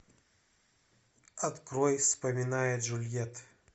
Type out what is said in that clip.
открой вспоминая джульетт